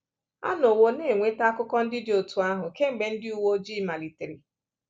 A nọwo na-enweta akụkọ ndị dị otú ahụ kemgbe ndị uwe ojii malitere.